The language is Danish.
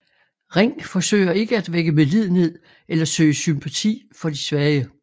Ring forsøger ikke at vække medlidenhed eller søge sympati for de svage